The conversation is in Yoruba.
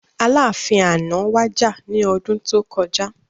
Aláàfin àná wàjà ní ọdún tó kọjá